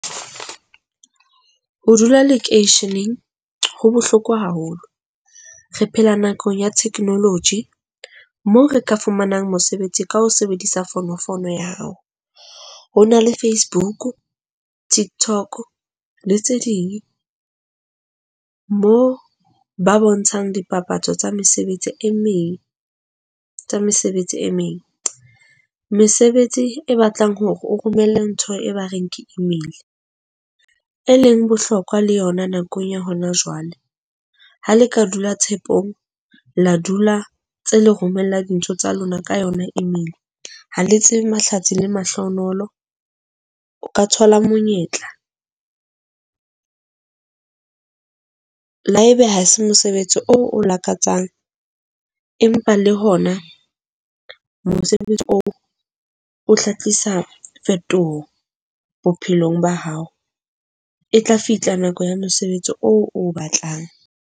Ho dula lekeisheneng ho bohloko haholo. Re phela nakong ya technology mo re ka fumanang mosebetsi ka ho sebedisa fonofono ya hao. Ho na le Facebook, TikTok le tse ding moo ba bontshang dipapatso tsa mesebetsi e meng, tsa mesebetsi e meng. Mesebetsi e batlang hore o romelle ntho e ba reng ke email, e leng bohlokwa le yona nakong ya hona jwale. Ha le ka dula tshepong, la dula tse le romella dintho tsa lona ka yona email. Ha le tsebe mahlatsi le mahlohonolo, o ka thola monyetla le haebe ha se mosebetsi oo o lakatsang, empa le hona mosebetsi oo o tla tlisa phetoho bophelong ba hao. E tla fihla nako ya mosebetsi oo o batlang.